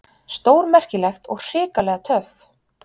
Stórmerkilegt og hrikalega töff.